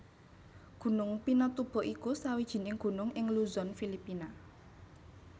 Gunung Pinatubo iku sawijining gunung ing Luzon Filipina